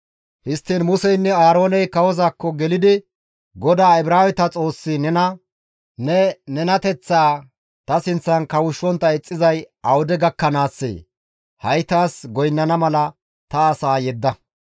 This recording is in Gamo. Histtiin Museynne Aarooney kawozaakko gelidi, «GODAA Ibraaweta Xoossi nena, ‹Ne nenateththaa ta sinththan kawushshontta ixxizay awude gakkanaassee? Ha7i taas goynnana mala ta asaa yedda.